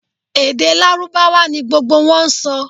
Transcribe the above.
Èdè lárúbáwá ni gbogbo wọn n sọ